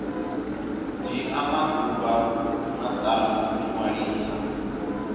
dzhia maḓuvha maṱanu u ṅwalisa